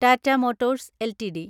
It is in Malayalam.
Tata Motors LTD